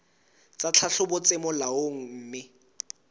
tsa tlhahlobo tse molaong mme